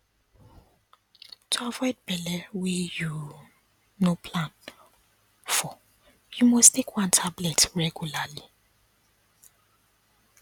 to avoid belle wey you no plan for you must take one tablet regularly